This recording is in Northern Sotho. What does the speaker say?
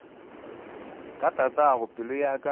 ka tatago pelo ya ka